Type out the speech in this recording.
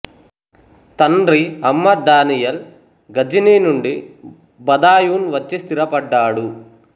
తండ్రి అహ్మద్ దానియాల్ ఘజనీ నుండి బదాయూన్ వచ్చి స్థిరపడ్డాడు